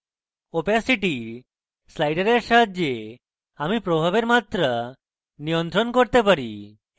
opacity slider সাহায্যে আমি প্রভাবের মাত্রা নিয়ন্ত্রণ করতে পারি